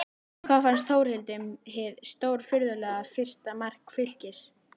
En hvað fannst Þórhildi um hið stórfurðulega fyrsta mark Fylkis?